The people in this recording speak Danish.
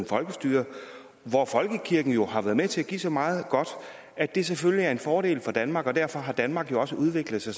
folkestyre og hvor folkekirken jo har været med til at give så meget godt at det selvfølgelig er en fordel for danmark og derfor har danmark jo også udviklet sig